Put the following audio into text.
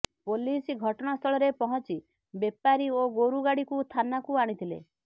police ଘଟଣାସ୍ଥଳରେ ପହଞ୍ଚି ବେପାରୀ ଓ ଗୋରୁ ଗାଡିକୁ ଥାନାକୁ ଆଣିଥିଲେ